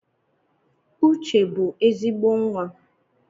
Uche bụ ezigbo nwa